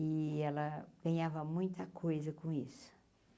E ela ganhava muita coisa com isso.